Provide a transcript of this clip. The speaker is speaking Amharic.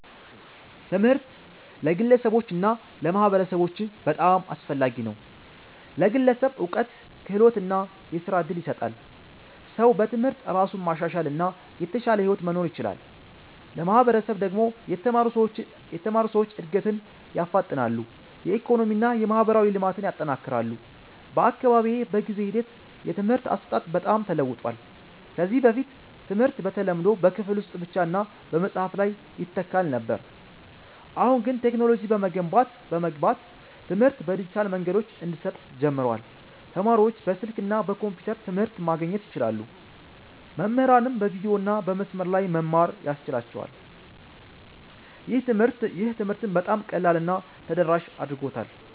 ትምህርት ለግለሰቦች እና ለማህበረሰቦች በጣም አስፈላጊ ነው። ለግለሰብ እውቀት፣ ክህሎት እና የሥራ እድል ይሰጣል። ሰው በትምህርት እራሱን ማሻሻል እና የተሻለ ሕይወት መኖር ይችላል። ለማህበረሰብ ደግሞ የተማሩ ሰዎች እድገትን ያፋጥናሉ፣ የኢኮኖሚ እና የማህበራዊ ልማትን ያጠናክራሉ። በአካባቢዬ በጊዜ ሂደት የትምህርት አሰጣጥ በጣም ተለውጧል። ከዚህ በፊት ትምህርት በተለምዶ በክፍል ውስጥ ብቻ እና በመጽሐፍ ላይ ይተካል ነበር። አሁን ግን ቴክኖሎጂ በመግባት ትምህርት በዲጂታል መንገዶች እንዲሰጥ ጀምሯል። ተማሪዎች በስልክ እና በኮምፒውተር ትምህርት ማግኘት ይችላሉ፣ መምህራንም በቪዲዮ እና በመስመር ላይ መማር ያስችላቸዋል። ይህ ትምህርትን በጣም ቀላል እና ተደራሽ አድርጎታል።